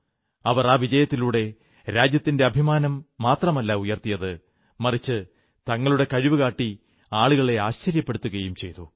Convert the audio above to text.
അവർ ആ വിജയത്തിലൂടെ രാജ്യത്തിന്റെ അഭിമാനം മാത്രമല്ല ഉയർത്തിയത് മറിച്ച് തങ്ങളുടെ കഴിവുകാട്ടി ആളുകളെ ആശ്ചര്യപ്പെടുത്തുകയും ചെയ്തു